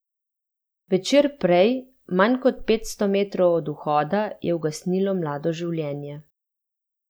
Večer prej, manj kot petsto metrov od vhoda, je ugasnilo mlado življenje.